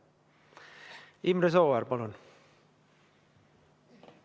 Imre Sooäär, palun!